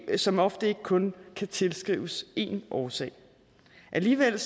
som ofte ikke kun kan tilskrives én årsag alligevel